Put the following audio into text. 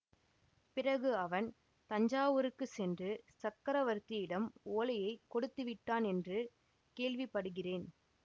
பிறகு அவன் தஞ்சாவூருக்குச் சென்று சக்கரவர்த்தியிடம் ஓலையை கொடுத்துவிட்டான் என்று கேள்விப்படுகிறேன்